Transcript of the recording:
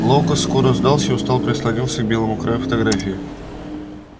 локус скоро сдался и устало прислонился к белому краю фотографии